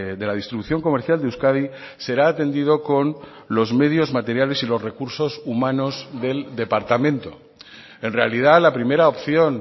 de la distribución comercial de euskadi será atendido con los medios materiales y los recursos humanos del departamento en realidad la primera opción